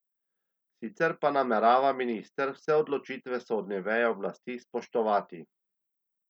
Sicer pa namerava minister vse odločitve sodne veje oblasti spoštovati.